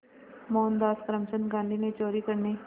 मोहनदास करमचंद गांधी ने चोरी करने